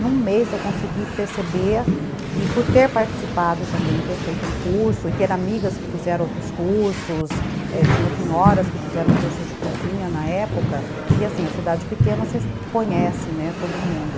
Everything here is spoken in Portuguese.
Num mês eu consegui perceber, e por ter participado também, ter feito um curso, e ter amigas que fizeram outros cursos, é, tinha senhoras que fizeram cursos de cozinha na época, e assim, a cidade pequena você conhece, né, todo mundo.